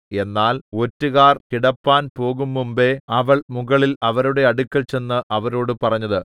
എന്നാൽ ഒറ്റുകാർ കിടപ്പാൻ പോകുംമുമ്പെ അവൾ മുകളിൽ അവരുടെ അടുക്കൽ ചെന്ന് അവരോട് പറഞ്ഞത്